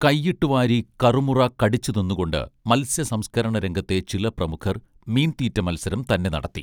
കൈയിട്ടു വാരി കറുമുറാ കടിച്ചു തിന്നു കൊണ്ട് മത്സ്യ സംസ്ക്കരണ രംഗത്തെ ചില പ്രമുഖർ മീൻതീറ്റ മത്സരം തന്നെ നടത്തി